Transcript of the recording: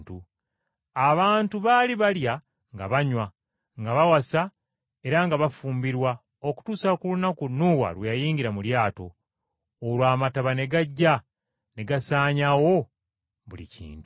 Abantu baali balya nga banywa nga bawasa era nga bafumbirwa okutuusa ku lunaku Nuuwa lwe yayingira mu lyato. Olwo amataba ne gajja ne gasaanyaawo buli kintu.